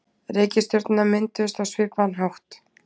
Reikistjörnurnar mynduðust á svipaðan hátt.